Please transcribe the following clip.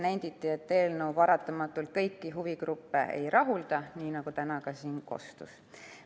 Nenditi, et eelnõu paratamatult kõiki huvigruppe ei rahulda, nii nagu täna ka siin kostis.